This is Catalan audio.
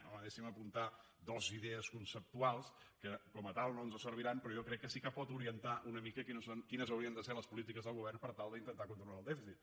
home deixi’m apuntar dues idees conceptuals que com a tals no ens serviran però jo crec que sí que poden orientar una mica quines haurien de ser les polítiques del govern per tal d’intentar controlar el dèficit